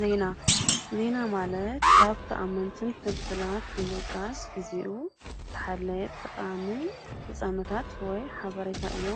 ዜና፡- ዜና ማለት ካብ ተኣመንትን ፍልፍላት ንምጥቃስ ግዚኡ ዝሓለወን ጠቃሚን ነፃነታት ወይ ሐበሬታ እዩ።